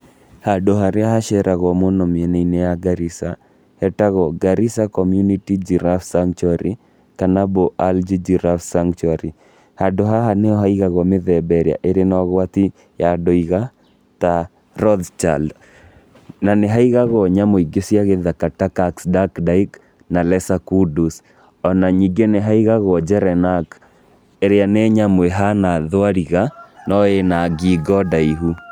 Handũ harĩa haceragũo mũno mĩena-inĩ ya Garissa hetagwo Garissa Community Giraffe Sanctuary kana Bolalji Giraffe Sanctuary. Handũ haha nĩ haigagwo mĩthemba ĩrĩa ĩrĩ na ũgwati ya ndũiga ta Rothschild na nĩ haigagwo nyamũ ingĩ cia gĩthaka ta Caxduckdike na Lesakudus, o na ningĩ nĩ haigagwo Gerenack ĩrĩa nĩ nyamũ ĩhana thwariga no ĩ na ngingo ndaihu.